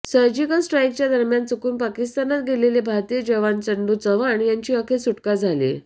surgical स्ट्राईकच्या दरम्यान चुकून पाकिस्तानात गेलेले भारतीय जवान चंदू चव्हाण यांची अखेर सुटका झालीय